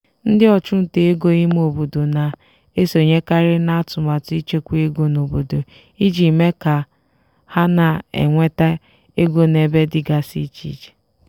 ndị ọchụnta ego ime obodo na-esonyekarị n'atụmatụ ịchekwa ego n'obodo iji mee ka ha na-enweta ego n'ebe dịgasị iche.